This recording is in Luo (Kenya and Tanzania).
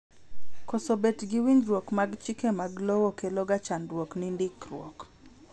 koso bet gi winjruok mag chike mag lowo kelo ga chandruok ni ndikruok